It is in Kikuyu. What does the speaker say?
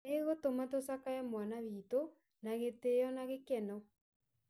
"ĩgũtuma tucakaye mwana witũ na gĩtiyo na gĩkeno"